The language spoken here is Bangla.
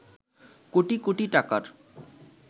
কোটি কোটি টাকার